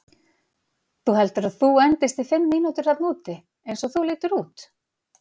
Þú heldur að þú endist í fimm mínútur þarna úti, eins og þú lítur út?